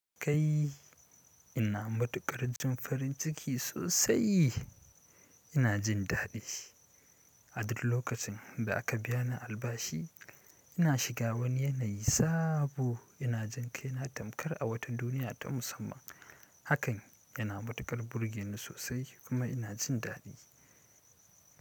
Kai ina matukar jin farin ciki sosai, ina jin dadi. A duk lokacin da aka biya ni albashi ina shiga wani yanayi sabo ina jin kai na tamkar a wata duniya ta musamman. Hakan yana matukar burge ni sosai kuma ina jin dadi.